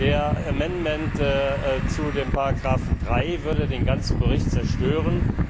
Der Änderungsantrag zu dem Paragraphen 3 würde den ganzen Bericht zerstören.